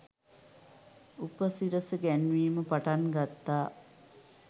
උපසිරසි ගැන්වීම පටන් ගත්තා.